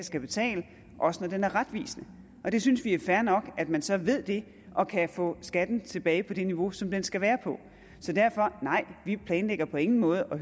skal betale også når den er retvisende vi synes det er fair nok at man så ved det og kan få skatten tilbage på det niveau som den skal være på så derfor nej vi planlægger på ingen måde at